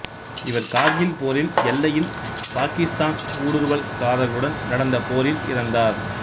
இவர் கார்கில் போரில் எல்லையில் பாக்கித்தான் ஊடுருவல்கரார்களுடன் நடந்த போரில் இறந்தார்